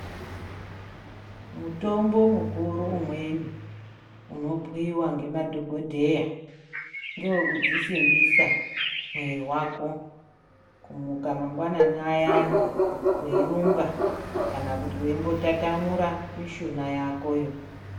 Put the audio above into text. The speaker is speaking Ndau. Mutombo mukuru mweni unobhuiwa ngemadhokoteya ngewekudzisimbisa mwiri wako kumuka mangwanani ayani weirumba kana kuti weimbotatamura mishuna yakoyo.